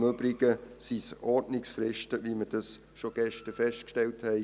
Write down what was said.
Im Übrigen sind es Ordnungsfristen, wie wir bereits gestern festgestellt haben.